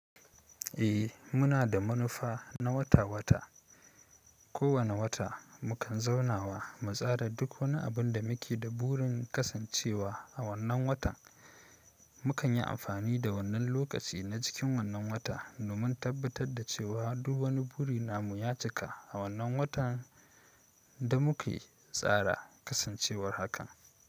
Eh, muna da manufa na wata-wata. Ko wane wata, mukan zauna wa mu tsara duk wani abin da muke da burin kasancewa a wannan watan. Mukan yi amfani da wannan lokaci na cikin wannan wata domin tabbatar da cewa duk wani buri na mu ya cika a wannan watan da muke tsara kasancewar hakan.